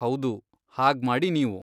ಹೌದು, ಹಾಗ್ಮಾಡಿ ನೀವು.